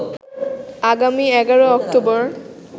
আগামী ১১ অক্টোবর